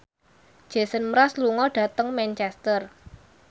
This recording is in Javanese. Jason Mraz lunga dhateng Manchester